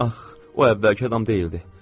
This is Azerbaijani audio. Ax, o əvvəlki adam deyildi.